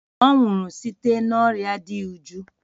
Ọ nwụrụ site n'orịa dị iju.